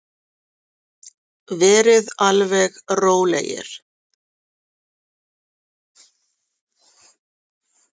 Verið alveg rólegir!